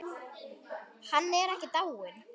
Hann er ekki dáinn.